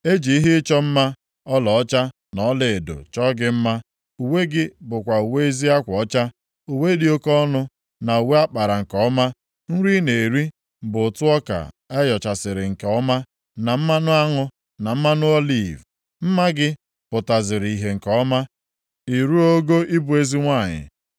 E ji ihe ịchọ mma ọlaọcha na ọlaedo chọọ gị mma. Uwe gị bụkwa uwe ezi akwa ọcha, uwe dị oke ọnụ, na uwe a kpara nke ọma. Nri ị na-eri bụ ụtụ ọka a yọchaziri nke ọma, na mmanụ aṅụ, na mmanụ oliv. Mma gị pụtaziri ihe nke ọma, ị ruo ogo ịbụ eze nwanyị.